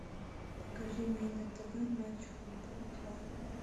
покажи мне на тв матч футбол два